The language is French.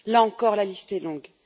Là encore, la liste est longue.